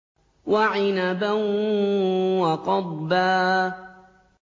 وَعِنَبًا وَقَضْبًا